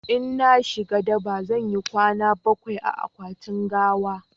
in zan shiga daba zan yi kwana bakwai a akwatin gawa